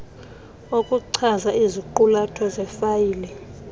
okuchaza iziqulatho zefayile